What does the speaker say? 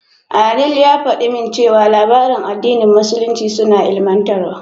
Adeel ya faɗa min cewa labaran addinin musulunci suna ilimantarwa.